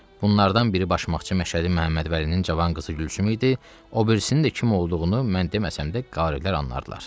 Bunlardan biri başmaqçı Məşhədi Məmmədvəlinin cavan qızı Gülsüm idi, obirisinin də kim olduğunu mən deməsəm də, qaarilər anlardılar.